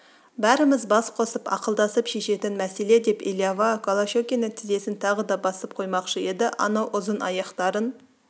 бәріміз бас қосып ақылдасып шешетін мәселе деп элиава голощекиннің тізесін тағы да басып қоймақшы еді анау ұзын аяқтарын